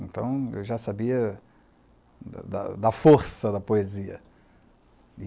Então, eu já sabia da da da força da poesia.